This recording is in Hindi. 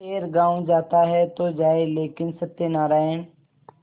खैर गॉँव जाता है तो जाए लेकिन सत्यनारायण